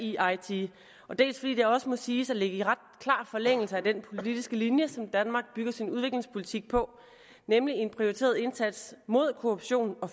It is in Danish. i eiti dels fordi det også må siges at ligge i ret klar forlængelse af den politiske linje som danmark bygger sin udviklingspolitik på nemlig en prioriteret indsats mod korruption og